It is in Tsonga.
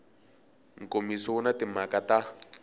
nkomiso wu na timhaka ta